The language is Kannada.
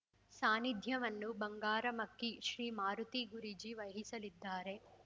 ಸಾನ್ನಿಧ್ಯವನ್ನು ಬಂಗಾರಮಕ್ಕಿ ಶ್ರೀ ಮಾರುತಿ ಗೂರೂಜಿ ವಹಿಸಲಿದ್ದಾರೆ